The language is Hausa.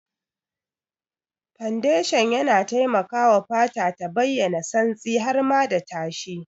Fondashan yana taimakawa fata ta bayyana santsi har ma da tashi.